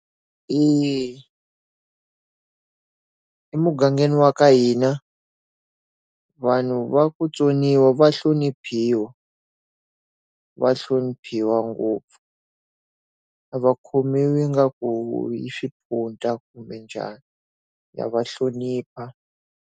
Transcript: emugangeni wa ka hina, vanhu va ku vutsoniwa va hloniphiwa. Va hloniphiwa ngopfu. A va khomiwi ingaku i swimpunta kumbe njhani, ha va hlonipha.